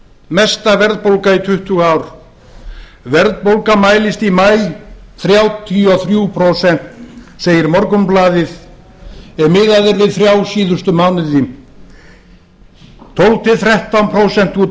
mesta verðbólga í tuttugu ár verðbólga án húsnæðisliðar mælist í maí þrjátíu og þrjú prósent segir morgunblaðið ef miðað er við síðustu þrjá